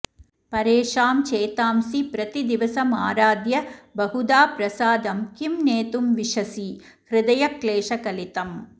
परेषां चेतांसि प्रतिदिवसमाराध्य बहुधा प्रसादं किं नेतुं विशसि हृदय क्लेशकलितम्